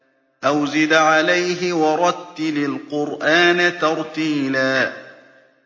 أَوْ زِدْ عَلَيْهِ وَرَتِّلِ الْقُرْآنَ تَرْتِيلًا